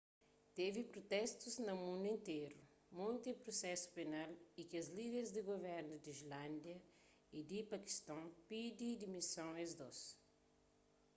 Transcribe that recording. tevi protestus na mundu interu monti prusesu penal y kes líder di guvernus di islándia y di pakiston pidi dimison es dôs